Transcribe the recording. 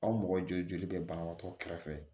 Aw mɔgɔ joli bɛ banabagatɔ kɛrɛfɛ